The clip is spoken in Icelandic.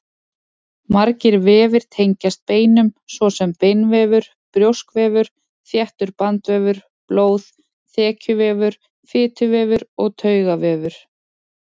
Margir vefir tengjast beinum, svo sem beinvefur, brjóskvefur, þéttur bandvefur, blóð, þekjuvefur, fituvefur og taugavefur.